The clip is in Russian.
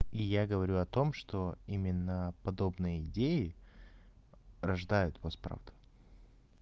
и я говорю о том что именно подобные идеи рождают вас правду